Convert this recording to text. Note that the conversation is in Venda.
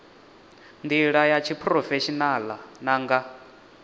ndila ya tshiphurofeshinala na nga